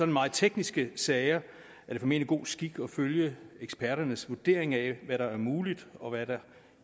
meget tekniske sager er det formentlig god skik at følge eksperternes vurdering af hvad der er muligt og hvad der